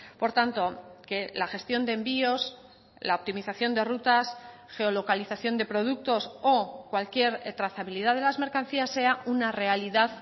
por tanto que la gestión de envíos la optimización de rutas geolocalización de productos o cualquier trazabilidad de las mercancías sea una realidad